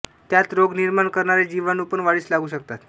त्यांत रोग निर्माण करणारे जीवाणूपण वाढीस लागू शकतात